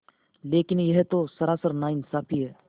लेकिन यह तो सरासर नाइंसाफ़ी है